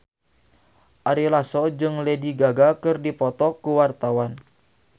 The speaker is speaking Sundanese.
Ari Lasso jeung Lady Gaga keur dipoto ku wartawan